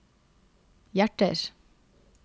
hjerter